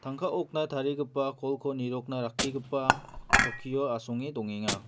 tangka okna tarigipa kolko nirokna rakkigipa chokkio asonge dongenga.